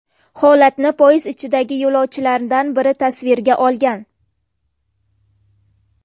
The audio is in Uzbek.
Holatni poyezd ichidagi yo‘lovchilardan biri tasvirga olgan.